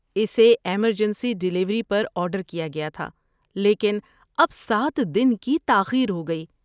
اسے emergency delivery پر order کیا گیا تھا لیکن اب سات دن کی تاخیر ہو گئی